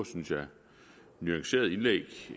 og synes jeg nuancerede indlæg